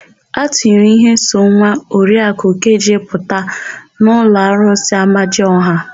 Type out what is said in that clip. A tụnyere íhé so nwa Oriaku Ukeje pụta n'ụlọ arụsị Amadiọha.